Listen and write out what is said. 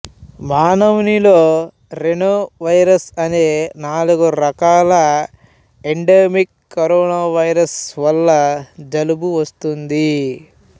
మానవునిలో rhinovirus అనే నాలుగు రకాల ఎండెమిక్ కరోనా వైరస్ ల వల్ల జలుబు వస్తుంది